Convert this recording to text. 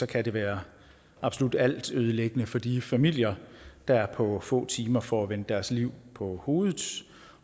kan være absolut altødelæggende for de familier der på få timer får vendt deres liv på hovedet